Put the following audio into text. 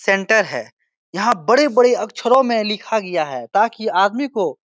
centre है यहाँ बड़े-बड़े अक्षरों में लिखा गया है ताकि आदमी को --